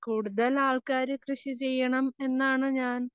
കൂടുതൽ ആൾക്കാര് കൃഷി ചെയ്യണം എന്നാണ് ഞാൻ